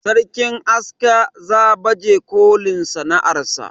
sarkin aska za baje kolin sana'ar sa